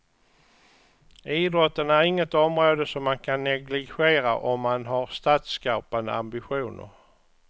Idrotten är inget område som man kan negligera om man har statsskapande ambitioner.